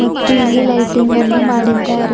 ಮತ್ತು ಇಲ್ಲಿ ಲೈಟಿಂಗ್ ಅನ್ನು ಮಾಡಿದ್ದಾರೆ.